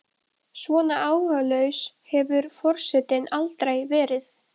Svona áhugalaus hefur forsetinn aldrei verið.